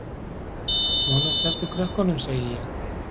Svona, slepptu krökkunum, segi ég!